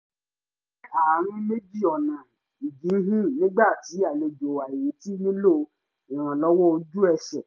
mo wà ní àárín méjì ọ̀nà ìjíhìn nígbà tí àlejò àìretí nílò ìrànlọ́wọ́ ojú ẹsẹ̀